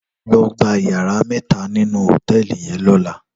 Lò gbá iyàrá mètá ninú hótèlí yèn lòlá